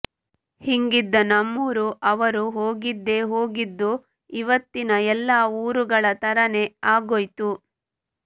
ಹಿಂಗಿದ್ದ ನಮ್ಮೂರು ಅವರು ಹೋಗಿದ್ದೆ ಹೋಗಿದ್ದು ಇವತ್ತಿನ ಎಲ್ಲ ಊರುಗಳ ತರಾನೇ ಆಗೋಯ್ತು